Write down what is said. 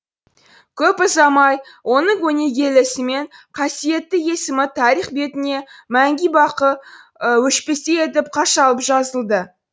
көп ұзамай оның өнегелі ісі мен қасиетті есімі тарих бетіне мәңгі бақи өшпестей етіп қашалып жазылды